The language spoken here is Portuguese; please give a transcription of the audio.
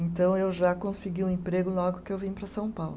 Então eu já consegui um emprego logo que eu vim para São Paulo.